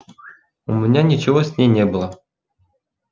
у меня ничего с ней не было